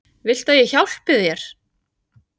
Viltu að ég hjálpi þér?